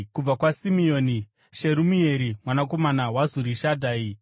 kubva kwaSimeoni, Sherumieri mwanakomana waZurishadhai;